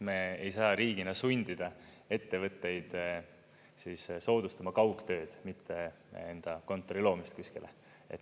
Me ei saa riigina sundida ettevõtteid soodustama kaugtööd, mitte enda kontori loomist kuskile.